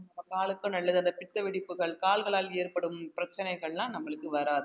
நம்ம காலுக்கு நல்லது அந்த பித்த வெடிப்புகள் கால்களால் ஏற்படும் பிரச்சனைகள் எல்லாம் நம்மளுக்கு வராது